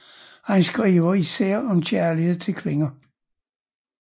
Han skriver især om kærlighed til kvinder